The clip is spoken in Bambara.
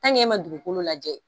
Ali n'e ma dugukolo lajɛ.